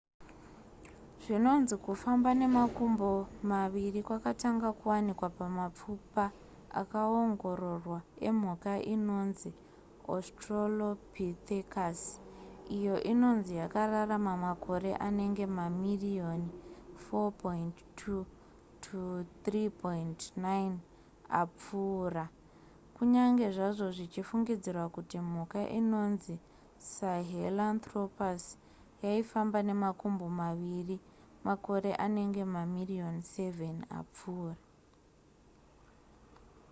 zvinonzi kufamba nemakumbo maviri kwakatanga kuwanika pamapfupa akaongororwa emhuka inonzi australopithecus iyo inonzi yakararama makore anenge mamiriyoni 4.2 -3.9 apfuura kunyange zvazvo zvichifungidzirwa kuti mhuka inonzi sahelanthropus yaifamba nemakumbo maviri makore anenge mamiriyoni 7 apfuura